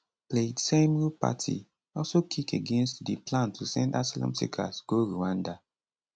plaid cymru party also kick against di plan to send asylum seekers go rwanda